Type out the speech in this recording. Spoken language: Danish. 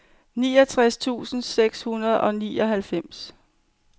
niogtres tusind seks hundrede og nioghalvfems